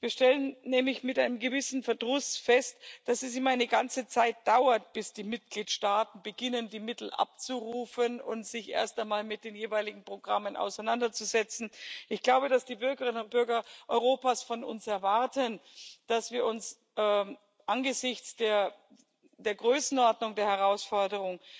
Wir stellen nämlich mit einem gewissen Verdruss fest, dass es immer eine ganze Zeit dauert, bis die Mitgliedstaaten beginnen, die Mittel abzurufen und sich erst einmal mit den jeweiligen Programmen auseinanderzusetzen. Ich glaube, dass die Bürgerinnen und Bürger Europas von uns erwarten, dass wir uns angesichts der Größenordnung der Herausforderung